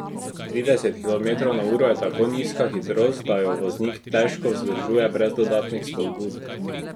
Trideset kilometrov na uro je tako nizka hitrost, da jo voznik težko vzdržuje brez dodatnih spodbud.